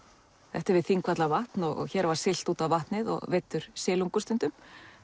þetta er við Þingvallavatn og hér var siglt út á vatnið og veiddur silungur stundum